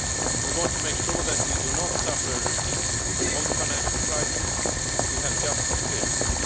We want to make sure that we do not suffer a repeat of the financial crisis we have just experienced.